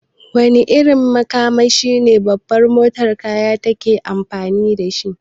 Wane irin makamashi ne babbar motar daukar kaya take amfani dashi?